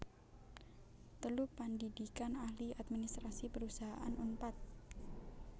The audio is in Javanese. telu Pandhidhikan Ahli Administrasi Perusahaan Unpad